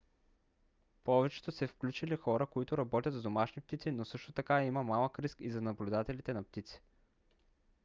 повечето са включили хора които работят с домашни птици но също така има малък риск и за наблюдателите на птици